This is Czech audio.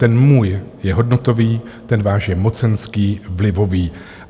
Ten můj je hodnotový, ten váš je mocenský, vlivový.